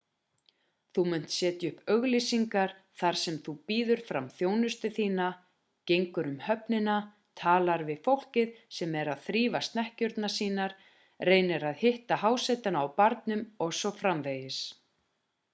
þú munt setja upp auglýsingar þar sem þú býður fram þjónustu þína gengur um höfnina talar við fólkið sem er að þrífa snekkjurnar sínar reynir að hitta hásetana á barnum o.s.frv